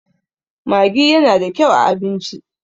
maggi yana da kyau a abinci